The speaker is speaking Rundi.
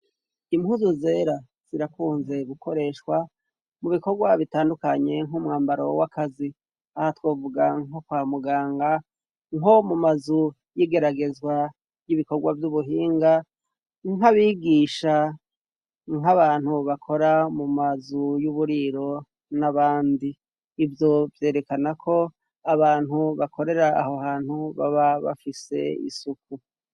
impuzu zera zirakunze gukoreshwa mu bikorwa bitandukanye nk'umwambaro w'akazi aho twovuga nko kwa muganga nko mu mazu y'igeragezwa y'ibikorwa by'ubuhinga nk'abigisha nk'abantu bakora mu mazu y'uburiro n'abandi ibyo byerekana ko abantu bakorera aho hantu baba bafise isuku